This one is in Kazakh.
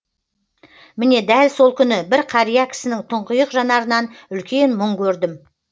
міне дәл сол күні бір қария кісінің тұңғиық жанарынан үлкен мұң көрдім